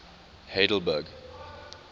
heidelberg